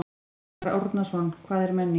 Arnar Árnason: Hvað er menning?